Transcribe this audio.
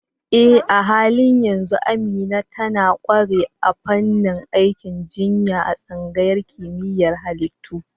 Eh, a halin yanzu Amina tana ƙware a fannin aikin jinya a tsangayar kimiyyar halittu.